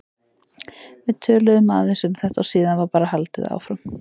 Við töluðum aðeins um þetta og síðan var bara haldið áfram.